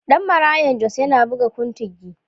Ɗan Marayan Jos yana buga kuntigi.